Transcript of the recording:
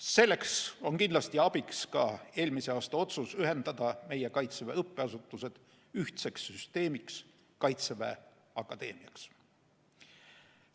Selles on kindlasti abiks ka eelmise aasta otsus ühendada meie Kaitseväe õppeasutused ühtseks süsteemiks – Kaitseväe Akadeemiaks.